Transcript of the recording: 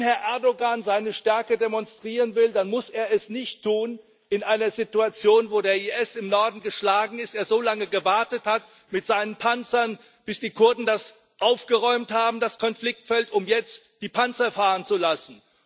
Wenn Herr Erdoğan seine Stärke demonstrieren will, dann muss er es nicht in einer Situation tun, wo der IS im Norden geschlagen ist, er so lange gewartet hat mit seinen Panzern, bis die Kurden das Konfliktfeld aufgeräumt haben, um jetzt die Panzer fahren zu lassen.